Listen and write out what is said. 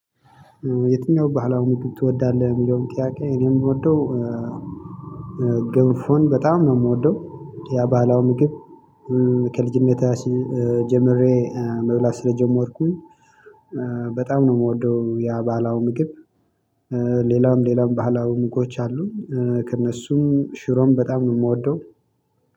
የትኛው ባህላዊ ምግብ ትወዳለህ የሚለውን ጥያቄ እኔ የምወደው ግንፎን በጣም ነው የምወደው የባህላው ምግብ። ከልጅነቴ ጀምሬ መብላት ስለጀመርኩኝ። በጣም ነው የምወደው ያ ባህላዊ ምግብ። ሌላም ሌላም ባህላው ምግቦች አሉ። ከእነሱም ሽሮም በጣም ነው የምወደው።